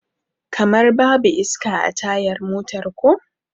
Kamar babu iska a tayar motar ko?